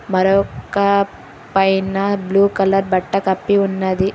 మరొక్క పైన blue colour బట్ట కప్పి ఉన్నది.